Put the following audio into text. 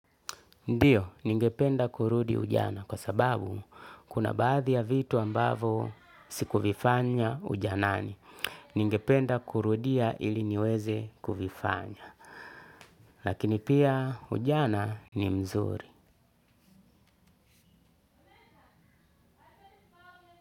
Ndiyo ningependa kurudi ujana kwa sababu kuna baadhi ya vitu ambayo sikuvifanya ujanani ningependa kurudia iliniweze kuvifanya. Lakini pia ujana ni mzuri.